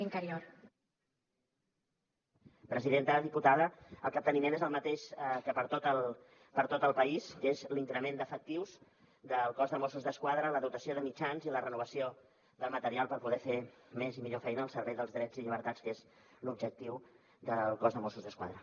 diputada el capteniment és el mateix que per a tot el país que és l’increment d’efectius del cos de mossos d’esquadra la dotació de mitjans i la renovació del material per poder fer més i millor feina al servei dels drets i llibertats que és l’objectiu del cos de mossos d’esquadra